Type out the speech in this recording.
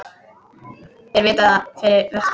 Þeir vita það fyrir vestan